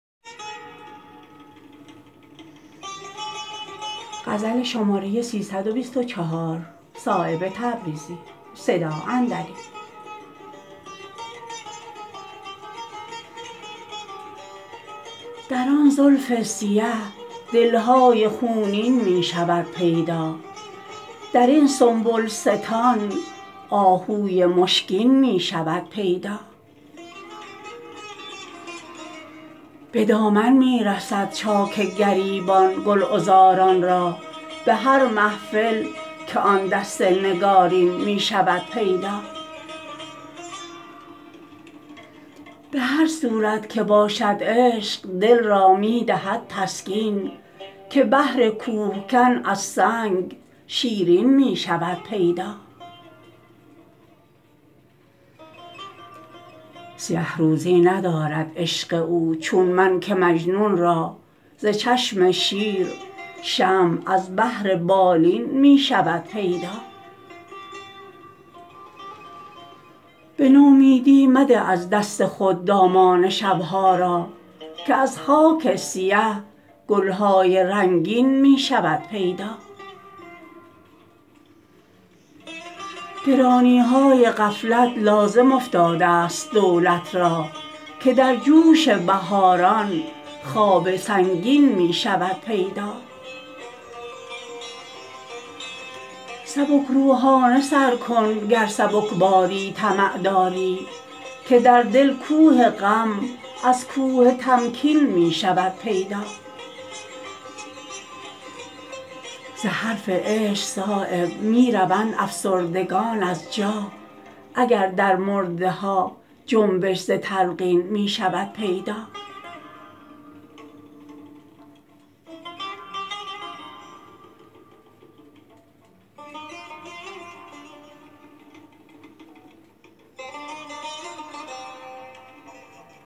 در آن زلف سیه دل های خونین می شود پیدا درین سنبلستان آهوی مشکین می شود پیدا به دامن می رسد چاک گریبان گل عذاران را به هر محفل که آن دست نگارین می شود پیدا به هر صورت که باشد عشق دل را می دهد تسکین که بهر کوهکن از سنگ شیرین می شود پیدا سیه روزی ندارد عشق او چون من که مجنون را ز چشم شیر شمع از بهر بالین می شود پیدا به نومیدی مده از دست خود دامان شب ها را که از خاک سیه گل های رنگین می شود پیدا گرانی های غفلت لازم افتاده است دولت را که در جوش بهاران خواب سنگین می شود پیدا سبک روحانه سر کن گر سبکباری طمع داری که در دل کوه غم از کوه تمکین می شود پیدا ز حرف عشق صایب می روند افسردگان از جا اگر در مرده ها جنبش ز تلقین می شود پیدا